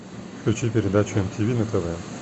включи передачу мтв на тв